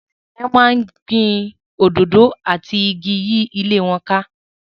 Àwọn ènìyàn máa ń gbin òdòdó àti igi yí ilé wọn ká.